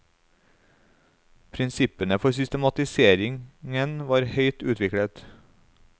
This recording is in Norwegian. Prinsippene for systematiseringen var høyt utviklet.